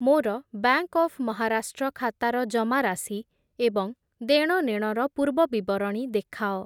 ମୋର bank of Maharashtra ଖାତାର ଜମାରାଶି ଏବଂ ଦେଣନେଣର ପୂର୍ବବିବରଣୀ ଦେଖାଅ ।